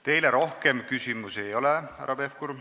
Teile rohkem küsimusi ei ole, härra Pevkur.